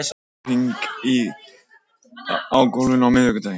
Ás, bókaðu hring í golf á miðvikudaginn.